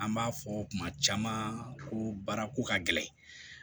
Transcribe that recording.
An b'a fɔ kuma caman ko baara ko ka gɛlɛn